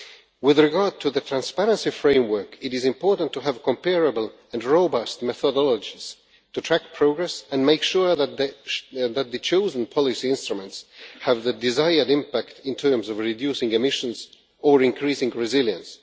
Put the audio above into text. With regard to the transparency framework, it is important to have comparable and robust methodologies to track progress and make sure that the chosen policy instruments have the desired impact in terms of reducing emissions or increasing resilience.